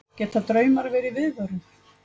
geta draumar verið viðvörun